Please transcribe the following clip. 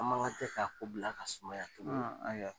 An makantɛ k'a ko bila ka sumaya ayiwa.